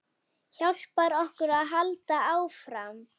Hjálpar okkur að halda áfram.